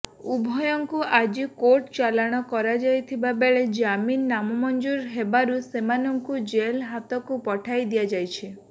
ଉଭୟଙ୍କୁ ଆଜି କୋର୍ଟ ଚାଲାଣ କରାଯାଇଥିବା ବେଳେ ଜାମିନ ନାମଞ୍ଜୁର ହେବାରୁ ସେମାନଙ୍କୁ ଜେଲ୍ ହାଜତକୁ ପଠାଇ ଦିଆଯାଇଛି